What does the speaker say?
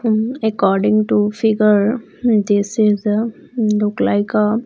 Um according to figure this is a look like a --